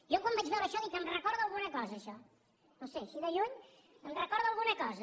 jo quan vaig veure això dic em recorda alguna cosa això no ho sé així de lluny em recorda alguna cosa